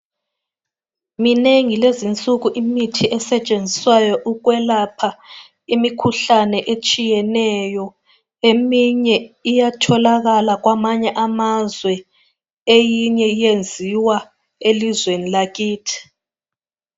Minengi kulezi nsuku imithi esetshenziswayo ukwelapha imikhuhlane etshiyeneyo. Eminye iyatholakala kwamanye amazwe eyinye iyenziwa elizweni lakithi.